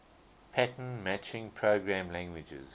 pattern matching programming languages